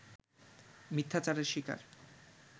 মিথ্যাচারের শিকার